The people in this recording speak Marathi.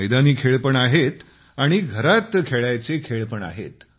मैदानी खेळ पण आहेत आणि घरात खेळायचे खेळ पण आहेत